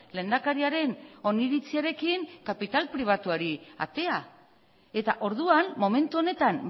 lehendakariaren oniritziarekin kapital pribatuari atea eta orduan momentu honetan